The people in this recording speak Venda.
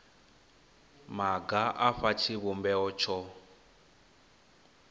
maga a fha tshivhumbeo tsho